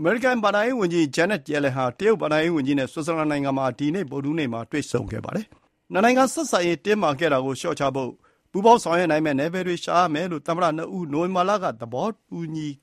အမေရိကန်ဘဏ္ဍာရေးဝန်ကြီး ဂျန်းနက်ရယ်လန် (Janet Yellen) ဟာ တရုတ်ဘဏ္ဍာရေးဝန်ကြီး လျူဟော် (Liu He) နဲ့ ဆွစ်ဇာလန်နိုင်ငံမှာ ဗုဒ္ဓဟူးနေ့က တွေ့ဆုံပါတယ်။ နှစ်နိုင်ငံဆက်ဆံရေးတင်းမာခဲ့တာကို လျှော့ချဖို့ ပူးပေါင်းဆောင်ရွက်နိုင်မယ့် နယ်ပယ်တွေရှာမယ်လို့ သမ္မတ နှစ်ဦး နိုဝင်ဘာလက သဘောတူ